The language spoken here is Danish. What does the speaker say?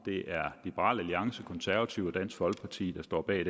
liberal alliance de konservative og dansk folkeparti der står bag